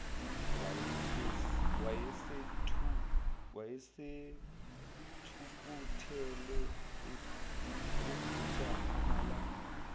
wayesethukuthele evutha amalangabi